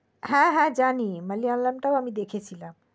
হ্যা হ্যা জানি মালায়ালাম আমি দেখেছিলাম